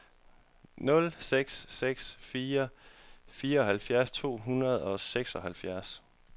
nul seks seks fire fireoghalvfjerds to hundrede og seksoghalvtreds